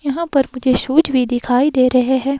यहां पर मुझे शूज़ भी दिखाई दे रहे हैं।